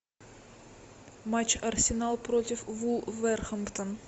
матч арсенал против вулверхэмптон